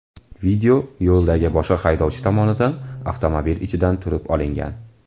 Video yo‘ldagi boshqa haydovchi tomonidan avtomobil ichidan turib olingan.